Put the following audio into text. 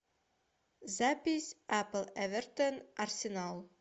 запись апл эвертон арсенал